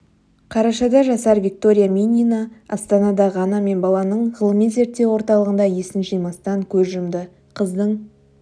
қарашада жасар виктория минина астанадағы ана мен баланың ғылыми зерттеу орталығында есін жимастан көз жұмды қыздың